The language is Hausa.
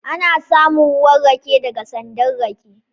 Ana samun ruwan rake daga sandan rake